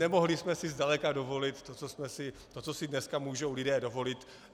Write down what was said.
Nemohli jsme si zdaleka dovolit to, co si dneska můžou lidé dovolit.